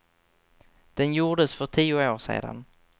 Den gjordes för tio år sedan.